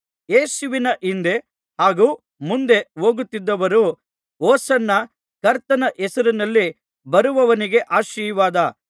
ಯೇಸುವಿನ ಹಿಂದೆ ಹಾಗೂ ಮುಂದೆ ಹೋಗುತ್ತಿದ್ದವರು ಹೊಸನ್ನ ಕರ್ತನ ಹೆಸರಿನಲ್ಲಿ ಬರುವವನಿಗೆ ಆಶೀರ್ವಾದ